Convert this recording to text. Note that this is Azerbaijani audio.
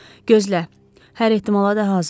Gözlə, hər ehtimala da hazır ol.